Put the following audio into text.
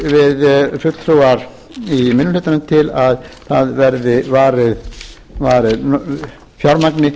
við fulltrúar í minni hlutanum til að það verði varið fjármagni